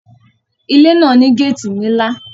Ilé náà ní gáàtì nílá